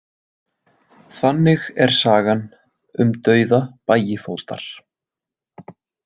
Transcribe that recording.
Þannig er sagan um dauða Bægifótar.